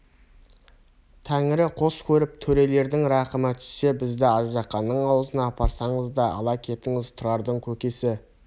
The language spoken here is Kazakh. тәңірі қос көріп төрелердің рақымы түссе бізді аждаһаның аузына апарсаңыз да ала кетіңіз тұрардың көкесі